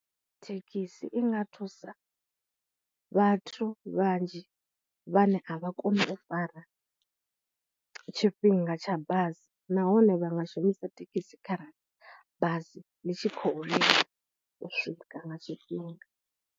Thekhisi i nga thusa vhathu vhanzhi vhane a vha koni u fara tshifhinga tsha basi, nahone vha nga shumisa thekhisi kha ra bazi ḽi tshi khou u swika nga tshifhinga.